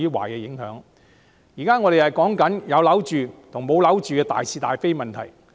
我們現在討論的，是有否住屋等大是大非的問題。